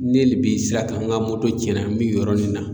Ne le bi sirakan n ga moto cɛna n be nin yɔrɔni na